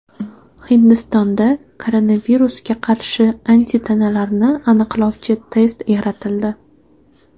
Hindistonda koronavirusga qarshi antitanalarni aniqlovchi test yaratildi.